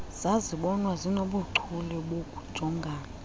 zazibonwa zinobuchule bokujongana